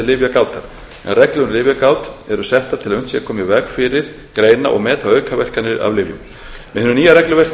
lyfjagátar en reglur um lyfjagát eru settar til að unnt sé að koma í veg fyrir greina og meta aukaverkanir af lyfjum með hinu nýja regluverki